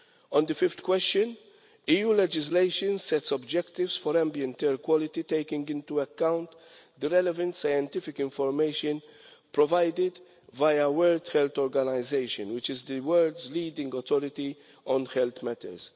On the fifth question, EU legislation sets objectives for ambient air quality, taking into account the relevant scientific information provided via the World Health Organisation, which is the World's leading authority on health matters.